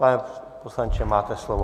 Pane poslanče, máte slovo.